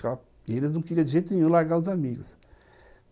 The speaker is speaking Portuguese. Porque eles não queriam de jeito nenhum largar os amigos.